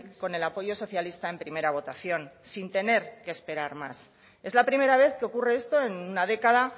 con el apoyo socialista en primera votación sin tener que esperar más es la primera vez que ocurre esto en una década